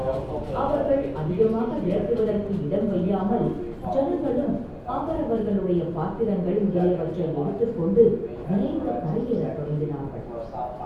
அவர்கள் அதிகமாக விரட்டுவதற்கு இடம் வையாமல் ஜனங்களும் அவரவர்களுடைய பாத்திரங்கள் முதலியவற்றை எடுத்துக் கொண்டு விரைந்து கரையேறத் தொடங்கினார்கள்.